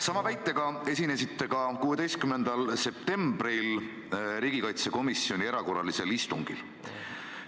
Sama väitega esinesite ka 16. septembril riigikaitsekomisjoni erakorralisel istungil.